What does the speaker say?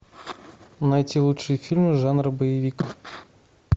найти лучшие фильмы жанра боевик